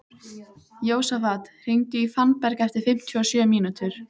Jósafat, hringdu í Fannberg eftir fimmtíu og sjö mínútur.